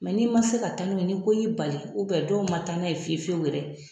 n'i man se ka taa n'u ye ni ko y'i bali dɔw man taa n'a ye fiyewu fiyewu yɛrɛ.